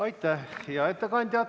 Aitäh, hea ettekandja!